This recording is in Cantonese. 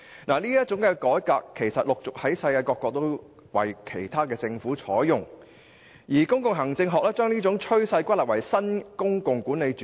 這種改革措施陸續為其他國家的政府採用，而公共行政學將這種趨勢歸納為新公共管理主義。